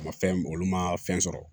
A ma fɛn olu ma fɛn sɔrɔ